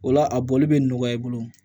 O la a bɔli bɛ nɔgɔya i bolo